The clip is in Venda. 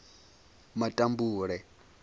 matambule